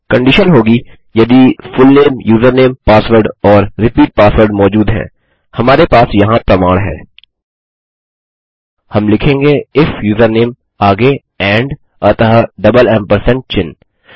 condition होगी यदि full name username password और रिपीट पासवर्ड मौजूद हैं हमारे पास यहाँ प्रमाण है हम लिखेंगे इफ यूजरनेम आगे एंड अतः डबल एम्परसेंड चिह्न